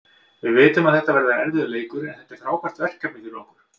Við vitum að þetta verður erfiður leikur, en þetta er frábært verkefni fyrir okkur.